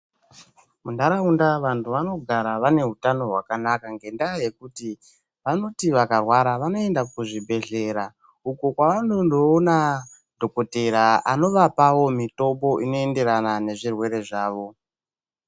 Muntaraunda vantu vanogara vaine utano hwakanaka ngendaa yekuti vanoti vakarwara, vanoenda kuzvibhedhlera uko kwavanondoona dhokodheya anovapawo mitombo inoenderana nezvirwere zvavo.